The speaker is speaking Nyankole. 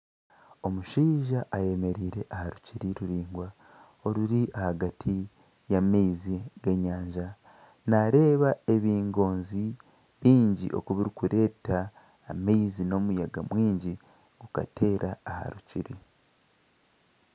Omushaija ayemereire aha rukiri ruraingwa oruri ahagati y'amaizi g'enyanja nareeba ebingozi oku birikureetwa haihi n'omuyaga mwingi gukateera aha rukiri